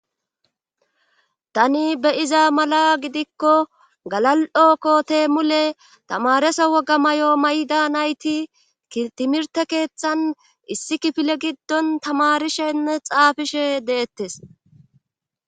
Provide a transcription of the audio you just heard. Tani be'iza mala gidikko galal'o kote mule tamaresa woga may'o mayda nayti timirte keeththan issi kifile giddon tamarishenne xaafishshe deettes